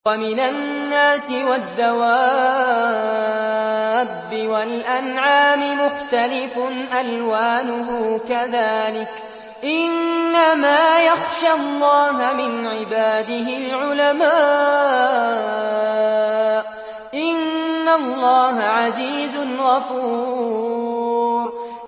وَمِنَ النَّاسِ وَالدَّوَابِّ وَالْأَنْعَامِ مُخْتَلِفٌ أَلْوَانُهُ كَذَٰلِكَ ۗ إِنَّمَا يَخْشَى اللَّهَ مِنْ عِبَادِهِ الْعُلَمَاءُ ۗ إِنَّ اللَّهَ عَزِيزٌ غَفُورٌ